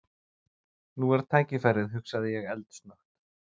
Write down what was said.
Nú er tækifærið hugsaði ég eldsnöggt.